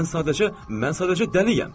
Mən sadəcə, mən sadəcə dəliyəm.